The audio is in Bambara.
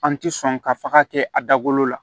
An ti sɔn ka faga kɛ a dagolo la